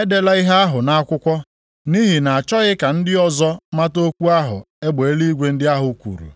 “Edela ihe ahụ nʼakwụkwọ, nʼihi na-achọghị ka ndị ọzọ mata okwu ahụ egbe eluigwe ndị ahụ kwuru.”